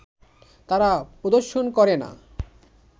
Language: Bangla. তারা প্রদর্শন করে না